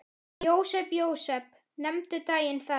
Jósep, Jósep, nefndu daginn þann.